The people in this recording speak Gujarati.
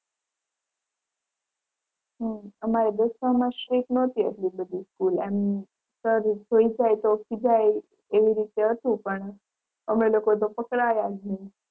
હમ્મ અમારે દશમાં માં strict નોતી આટલી બધી school એમ sir જોઈ જાય તો ખિજાય એવી રીતે હતું પણ અમે લોકો તો પકડાયા જ નહીં.